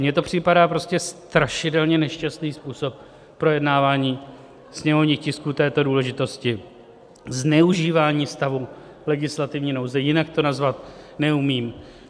Mně to připadá prostě strašidelně nešťastný způsob projednávání sněmovních tisků této důležitosti, zneužívání stavu legislativní nouze, jinak to nazvat neumím.